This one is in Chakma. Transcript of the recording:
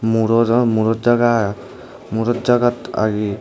muro dw muro jaga murot jaga agi.